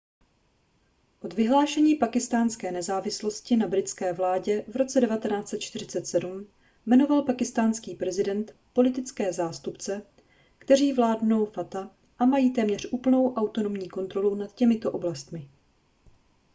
od vyhlášení pákistánské nezávislosti na britské vládě v roce 1947 jmenoval pákistánský prezident politické zástupce kteří vládnou fata a mají téměř úplnou autonomní kontrolu nad těmito oblastmi